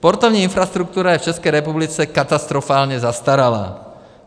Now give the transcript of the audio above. Sportovní infrastruktura je v České republice katastrofálně zastaralá.